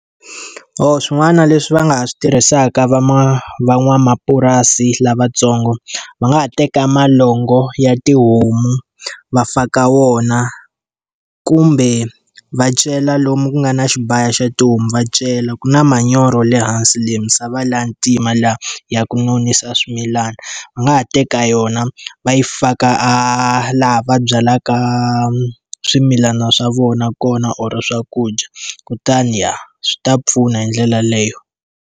swin'wana leswi va nga ha swi tirhisaka van'wamapurasi lavatsongo, va nga ha teka vulongo bya tihomu va faka wona. Kumbe va cela lomu ku nga na xibaya xa tihomu va cela, ku na manyoro le hansi le. Misava liya ya ntima laha ya ku nonisa swimilana, va nga ha teka yona va yi faka a laha va byalaka swimilana swa vona kona or swakudya kutani ya swi ta pfuna hi ndlela yoleyo.